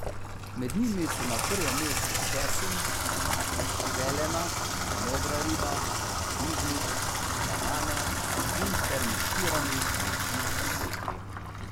Med njimi so na prvem mestu česen, zelena, modra riba, paradižnik, banane in fermentirani mlečni izdelki.